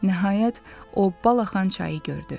Nəhayət o balaxan çayı gördü.